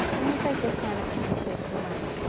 E como foi que a senhora conheceu seu marido?